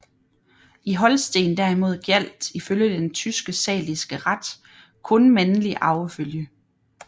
I Holsten derimod gjaldt ifølge den tyske saliske ret kun mandlig arvefølge